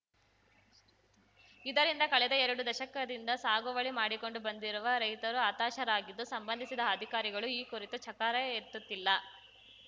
ಇದರಿಂದ ಕಳೆದ ಎರಡು ದಶಕದಿಂದ ಸಾಗುವಳಿ ಮಾಡಿಕೊಂಡು ಬಂದಿರುವ ರೈತರು ಹತಾಶರಾಗಿದ್ದು ಸಂಬಂಧಿಸಿದ ಅಧಿಕಾರಿಗಳು ಈ ಕುರಿತು ಚಕಾರ ಎತ್ತುತ್ತಿಲ್ಲ